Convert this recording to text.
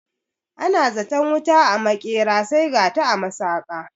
Ana zaton wuta a maƙera sai gata a masaƙa